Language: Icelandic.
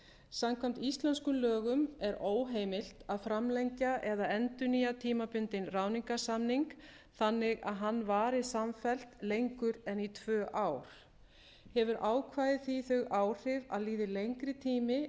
samkvæmt íslenskum lögum er óheimilt að framlengja eða endurnýja tímabundinn ráðningarsamning þannig að hann vari samfellt lengur en í tvö ár hefur ákvæðið því þau áhrif að líði lengri tími